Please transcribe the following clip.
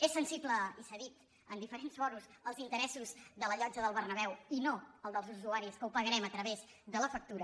és sensible i s’ha dit en diferents fòrums als interessos de la llotja del berna·béu i no als dels usuaris que ho pagarem a través de la factura